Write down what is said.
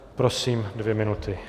Prosím, dvě minuty.